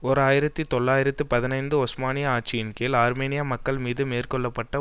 ஓர் ஆயிரத்தி தொள்ளாயிரத்து பதினைந்து ஒஸ்மானிய ஆட்சியின் கீழ் ஆர்மேனிய மக்கள் மீது மேற்கொள்ள பட்ட